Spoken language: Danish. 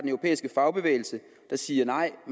europæiske fagbevægelse der siger nej og